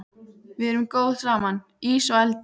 Við erum góð saman, ís og eldur.